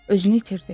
Özünü itirdi.